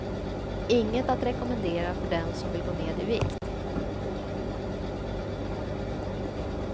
Inget att rekommendera för den som vill gå ned i vikt.